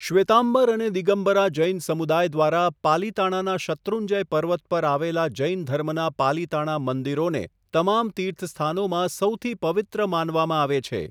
શ્વેતામ્બર અને દિગંબરા જૈન સમુદાય દ્વારા પાલિતાણાના શત્રુંજય પર્વત પર આવેલા જૈન ધર્મના પાલિતાણા મંદિરોને તમામ તીર્થસ્થાનોમાં સૌથી પવિત્ર માનવામાં આવે છે.